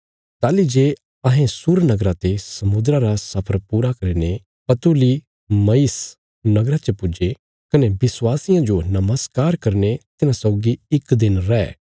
ताहली जे अहें सूर नगरा ते समुद्रा रा सफर पूरा करीने पतूलिमयिस नगरा च पुज्जे कने विश्वासियां जो नमस्कार करीने तिन्हां सौगी इक दिन रै